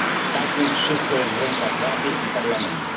Tak więc wszystko jest w rękach Rady i Parlamentu.